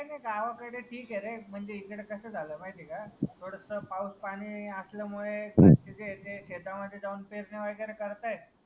काही नाही गावाकडे ठीक आहे रे म्हणजे कसं झालं माहिती आहे का थोडस पाऊस पाणी असल्यामुळे शेतामध्ये जाऊन पेरणी वगैरे करतायेत.